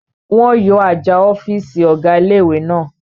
Wọ́n yọ àjà ọ̀fìsì ọ̀gá ilé-ìwé náà